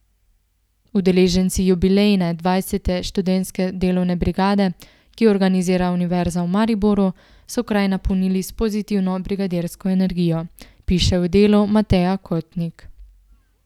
Udeleženci jubilejne, dvajsete študentske delovne brigade, ki jo organizira Univerza v Mariboru, so kraj napolnili s pozitivno brigadirsko energijo, piše v Delu Mateja Kotnik.